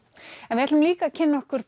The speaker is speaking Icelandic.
við ætlum líka að kynna okkur